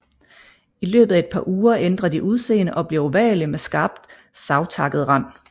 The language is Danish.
I løbet af et par uger ændrer de udseende og bliver ovale med skarpt savtakket rand